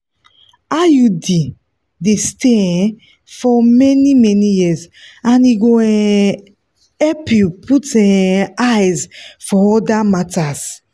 iud dey stay um for many many years as e go um help you put um eyes for other matters.